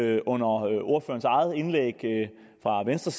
jeg under ordførerens eget indlæg for venstre